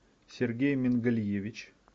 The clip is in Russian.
сергей мингалиевич